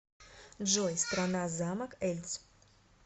джой страна замок эльц